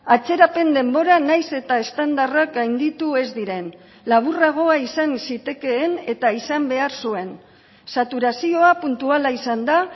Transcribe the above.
atzerapen denbora nahiz eta estandarrak gainditu ez diren laburragoa izan zitekeen eta izan behar zuen saturazioa puntuala izan da